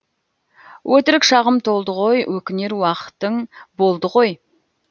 өтірік шағым толды ғой өкінер уақытың болды ғой